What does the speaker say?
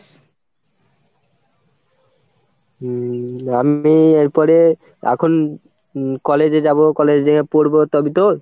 উম আমি এরপরে এখন college এ যাবো college এ যেয়ে পড়বো তবেই তো?